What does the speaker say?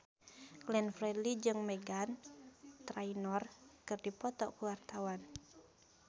Glenn Fredly jeung Meghan Trainor keur dipoto ku wartawan